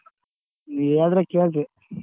ನೀವ್ ಹೇಳಿದ್ರೆ ಕೇಳ್ತಿವಿ.